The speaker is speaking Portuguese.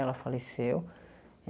Ela faleceu.